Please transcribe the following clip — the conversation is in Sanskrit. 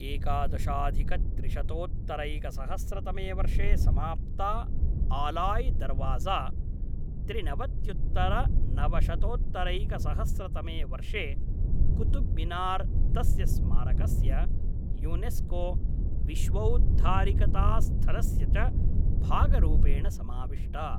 एकादशाधिकत्रिशतोत्तरैकसहस्रतमे वर्षे समाप्ता आलाय् दर्वाज़ा, त्रिनवत्युत्तरनवशतोत्तरैकसहस्रतमे वर्षे कुतुब् मिनार् तस्य स्मारकस्य यूनेस्को विश्वौद्धारिकतास्थलस्य च भागरूपेण समाविष्टा।